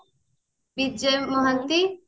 Bijay Mohanty